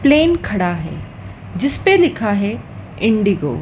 Plane खड़ा है जिस पे लिखा है इंडिगो ।